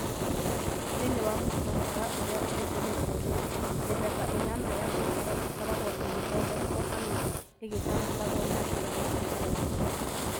Thĩinĩ wa mũtaratara ũrĩa ũhũthĩrĩtwo rĩu, mĩthemba ĩnana ya cĩikaro ĩkoragwo ĩgĩthondekwo kana ĩgathagathagwo na njĩra ya kũgayũkana.